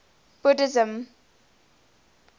buddhism